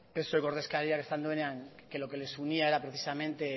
psoeko ordezkariak esan duenean que lo que les unía era precisamente